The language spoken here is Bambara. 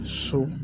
So